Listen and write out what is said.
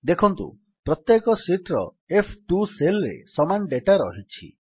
ଦେଖନ୍ତୁ ପ୍ରତ୍ୟେକ ଶୀଟ୍ ର ଏଫ୍12 ସେଲ୍ ରେ ସମାନ ଡେଟା ରହିଛି